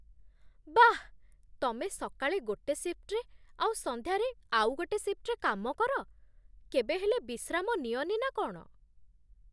ବାଃ! ତମେ ସକାଳେ ଗୋଟେ ଶିଫ୍ଟ୍ରେ ଆଉ ସନ୍ଧ୍ୟାରେ ଆଉ ଗୋଟେ ଶିଫ୍ଟ୍‌ରେ କାମ କର! କେବେ ହେଲେ ବିଶ୍ରାମ ନିଅନି ନା କ'ଣ?